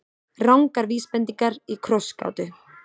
Rangar vísbendingar í krossgátu